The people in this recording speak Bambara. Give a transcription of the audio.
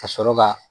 Ka sɔrɔ ka